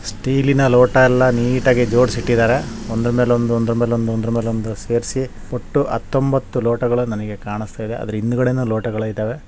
Steel ಇನ ಲೋಟಗಳನೆಲ್ಲಾ neat ಆಗಿ ಜೋಡಿಸಿ ಇಟ್ಟಿದ್ದಾರೆ ಒಂದರ ಮೇಲೆ ಒಂದು ಒಂದರ ಮೇಲೆ ಒಂದು ಒಂದರ ಮೇಲೆ ಒಂದು ಸೇರಿಸಿ ಒಟ್ಟು ಹತ್ತೊಂಭತ್ತು ಲೋಟಗಳು ನನಗೆ ಕಾಣಿಸ್ತಾ ಇದೆ ಅದರ ಹಿಂದುಗಡೆ ಲೋಟಗಳು ಇದ್ದಾವೆ.